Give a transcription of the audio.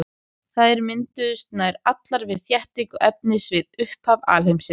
Þær mynduðust nær allar við þéttingu efnis við upphaf alheimsins.